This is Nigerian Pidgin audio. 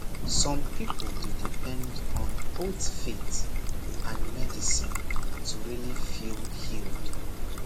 some people dey depend on both faith and medicine to really feel healed